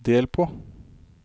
del på